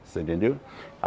Você entendeu?